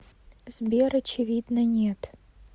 сбер очевидно нет